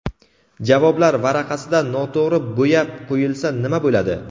Javoblar varaqasida noto‘g‘ri bo‘yab qo‘yilsa nima bo‘ladi?.